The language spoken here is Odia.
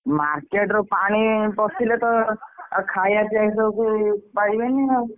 Market ରୁ ପାଣି ପଶିଲେ ତ ଆଉ ଖାଇ ବା ପିଆ ସବୁ ପାରିବେନି ଆଉ।